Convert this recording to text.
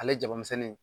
Ale jabamisɛnnin